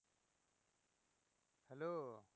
Hello